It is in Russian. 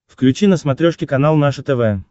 включи на смотрешке канал наше тв